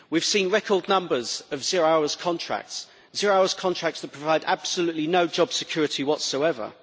We have seen record numbers of zero-hours contracts zero-hours contracts that provide absolutely no job security whatsoever.